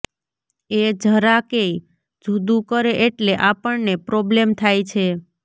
એ જરાકેય જૂદું કરે એટલે આપણને પ્રોબ્લેમ થાય છે